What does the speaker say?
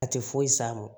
A tɛ foyi s'a ma